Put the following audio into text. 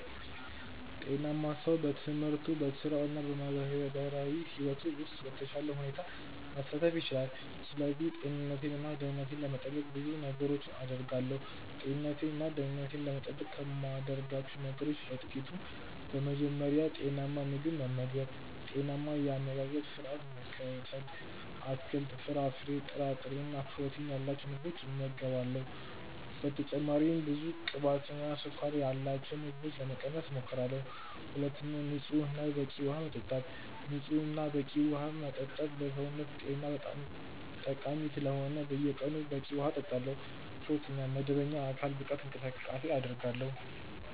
ጤናማ ሰው በትምህርቱ፣ በሥራው እና በማህበራዊ ሕይወቱ ውስጥ በተሻለ ሁኔታ መሳተፍ ይችላል። ስለዚህ ጤንነቴን እና ደህንነቴን ለመጠበቅ ብዙ ነገሮችን አደርጋለሁ። ጤንነቴን እና ደህንነቴን ለመጠበቅ ከማደርጋቸው ነገሮች በ ጥቅቱ፦ በመጀመሪያ, ጤናማ ምግብ መመገብ(ጤናማ የ አመጋገባ ስረዓት መከተል ):- አትክልት፣ ፍራፍሬ፣ ጥራጥሬ እና ፕሮቲን ያላቸው ምግቦችን እመገባለሁ። በተጨማሪም ብዙ ቅባትና ስኳር ያላቸውን ምግቦች ለመቀነስ እሞክራለሁ። ሁለተኛ, ንጹህ እና በቂ ውሃ መጠጣት። ንጹህ እና በቂ ዉሃ መጠጣትም ለሰውነት ጤና ጠቃሚ ስለሆነ በየቀኑ በቂ ውሃ እጠጣለሁ። ሶስተኛ, መደበኛ የአካል ብቃት እንቅስቃሴ አደርጋለሁ።